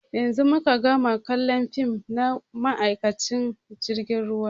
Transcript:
Yanzun muka gama kallon fim na ma'aikacin jirgin ruwa.